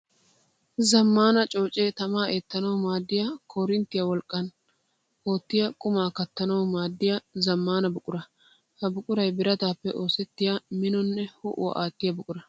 Zamaana cooce tamaa eettanawu maadiya koorinttiya wolqqan ootiya qumma kattanawu maadiya zamaana buqura. Ha buquray birattappe oosettiya minonne ho'uwa aattiya buqura.